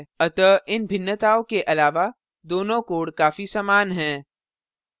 अतः इन भिन्नताओं के अलावा दोनों codes काफी समान हैं